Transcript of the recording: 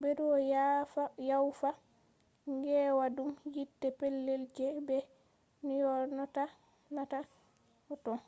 bedo yawfa gewaadum yiite petel je be nyonata ‘’photon’’